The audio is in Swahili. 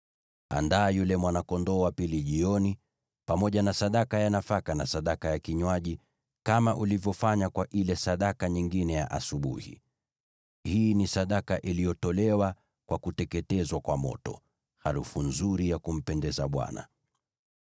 Andaa yule mwana-kondoo wa pili jioni, pamoja na sadaka ya nafaka na sadaka ya kinywaji kama ulivyofanya kwa ile sadaka nyingine ya asubuhi. Hii ni sadaka iliyotolewa kwa kuteketezwa kwa moto, harufu nzuri ya kumpendeza Bwana .